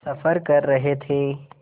सफ़र कर रहे थे